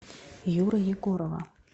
юры егорова